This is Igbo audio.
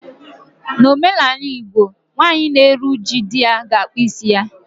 N'omenala Igbo, nwaanyị na-eru uju di ya ga-akpụ isi ya